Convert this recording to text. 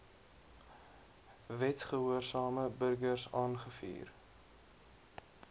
wetsgehoorsame burgers aangevuur